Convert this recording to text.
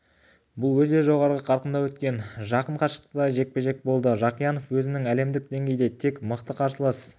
бұл өте жоғары қарқында өткен жақын қашықтықтағы жекпе-жек болды жақиянов өзінің әлемдік деңгейде тек мықты қарсылас